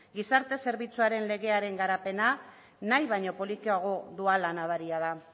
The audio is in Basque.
gizarte zerbitzuaren legearen garapena nahi baino polikiago doala nabaria da